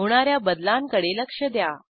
होणा या बदलांकडे लक्ष द्या